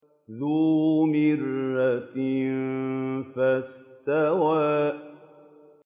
ذُو مِرَّةٍ فَاسْتَوَىٰ